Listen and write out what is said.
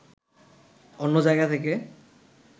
অন্য জায়গা থেকে